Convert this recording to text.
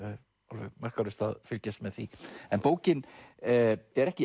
alveg makalaust að fylgjast með því en bókin er ekki